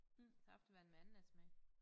Saftevand med ananassmag